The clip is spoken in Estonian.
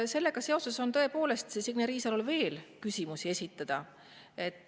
Sellega seoses on Signe Riisalole tõepoolest veel küsimusi esitada.